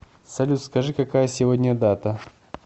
салют скажи какая сегодня дата